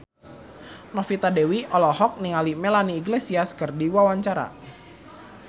Novita Dewi olohok ningali Melanie Iglesias keur diwawancara